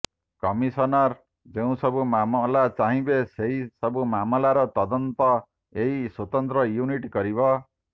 commissioner ଯେଉଁ ସବୁ ମାମଲା ଚାହିଁବେ ସେହି ସବୁ ମାମଲାର ତଦନ୍ତ ଏହି ସ୍ବତନ୍ତ୍ର ୟୁନିଟ୍ କରିବ